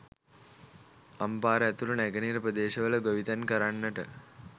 අම්පාර ඇතුළු නැගෙනහිර ප්‍රදේශවල ගොවිතැන් කරන්නට